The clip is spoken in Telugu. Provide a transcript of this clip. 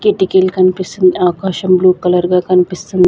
కిటికీల్ కనిపిస్తుంద్ ఆకాశం బ్లూ కలర్ గా కనిపిస్తుంద్.